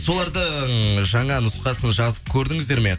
солардың жаңа нұсқасын жазып көрдіңіздер ме